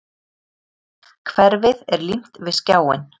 Hverfið er límt við skjáinn.